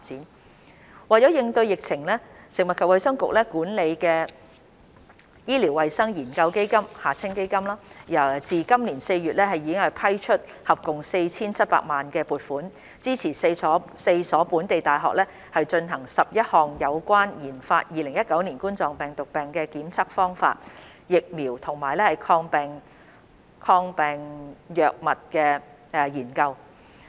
三為應對疫情，由食物及衞生局管理的醫療衞生研究基金自今年4月已批出合共 4,700 萬元撥款，支持4所本地大學進行11項有關研發2019冠狀病毒病的檢測方法、疫苗及抗病藥物的研究。